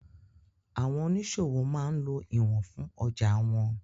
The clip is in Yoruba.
Àwọn oníṣòwò máa ń lo ìwọ̀n fún ọjàa wọn.